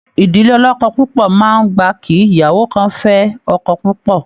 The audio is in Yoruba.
Ìdílé ọlọ́kọ́ púpọ máa n gbà kí ìyàwó kàn fẹ ọkọ púpọ.